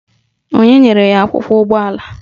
Onye nyere ya akwụkwọ ụgbọala?